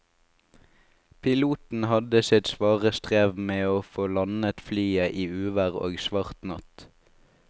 Piloten hadde sitt svare strev med å få landet flyet i uvær og svart natt.